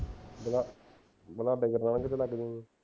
ਜਿਹੜਾ ਜਿਹੜਾ ਲੱਗ